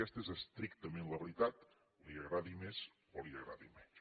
aquesta és estrictament la veritat li agradi més o li agradi menys